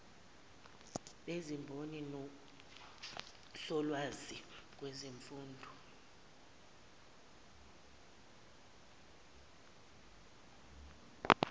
bezimboni nosolwazi kwezemfundo